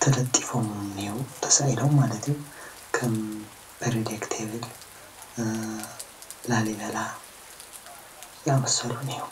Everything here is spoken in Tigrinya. ተለጢፎም እኒሀው ተሳኢሎም ማለት እዩ ከም ፔሬዲክቴብል፣ ላሊበላ ዛኣመሰሉ እንሄው።